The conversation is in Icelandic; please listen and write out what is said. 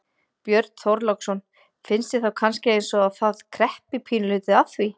Björn Þorláksson: Finnst þér þá kannski eins og að það kreppi pínulítið að því?